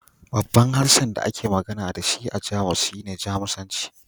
Babban harshen da ake magana da shi a Jamus shine Jamusanci